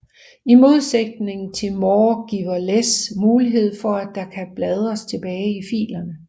I modsætning til more giver less mulighed for at der kan bladres tilbage i filerne